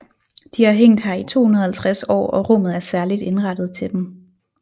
De har hængt her i 250 år og rummet er særligt indrettet til dem